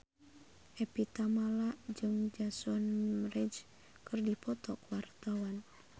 Evie Tamala jeung Jason Mraz keur dipoto ku wartawan